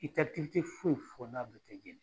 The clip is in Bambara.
I tɛ foyi fɔ n'a bɛɛ tɛ jeni.